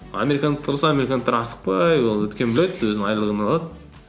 американдықтар болса американдықтар асықпай ол өйткені біледі өзінің айлығын алады